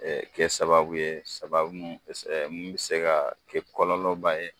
kɛ sababu ye sababu minnu bɛ se minnu bɛ se ka kɛ kɔlɔlɔ ba ye